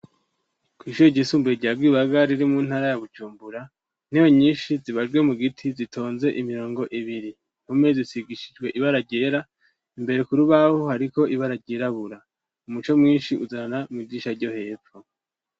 Kw'ishuri ryisumbue rya Rwibaga riri mu ntara ya Bujumbura, intebe nyinshi zibajwe mu giti zitonze imirongo ibiri, impome zisigishijwe ibara ryera imbere ku rubaho hariko ibara ryirabura, umuco mwinshi uzanana mw'idisha ryo hepfo.